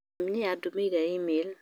Mami nĩ andũmĩire i-mīrū